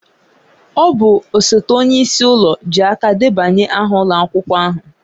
Ọ bụ osote onye isi ụlọ ji aka debanye aha ụlọ akwụkwọ ahụ